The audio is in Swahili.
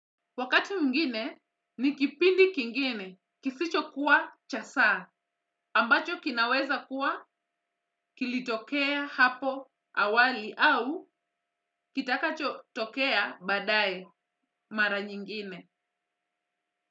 Wakati mwingine ni kipindi kingine kisicho kuwa cha saa ambacho kinaweza kuwa kilitokea hapo awali au kitakacho tokea baadaye mara nyingine.